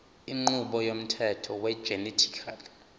inqubo yomthetho wegenetically